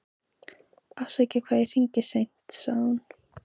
Afsakaðu hvað ég hringi seint, sagði hún.